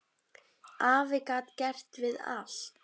Afi gat gert við allt.